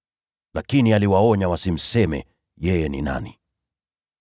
Lakini aliwaonya wasimseme yeye ni nani.